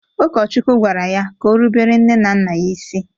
Ụkọchukwu gwara ya ka o rubere nne na nna ya isi.